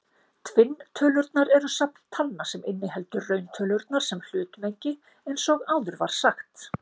Tvinntölurnar eru safn talna sem inniheldur rauntölurnar sem hlutmengi eins og áður var sagt.